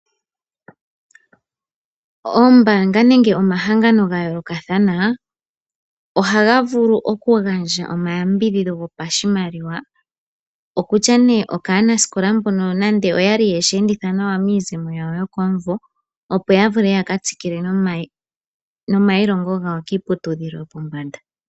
Oombaanga nenge omahangano ga yoolokathana ohaga vulu oku gandja omayambidhidho gopashimaliwa, okutya nee okaanasikola mbono nande oya li yeshi enditha nawa miizemo yawo yokomumvo, opo ya vule yaka tsikile nomailongo gawo kiiputudhilo yopombsnda.